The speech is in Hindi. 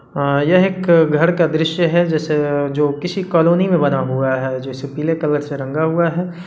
अ यह एक घर का दृश्य है जैसे जो किसी कॉलोनी में बना हुआ है जिसे पीले कलर से रंगा हुआ है।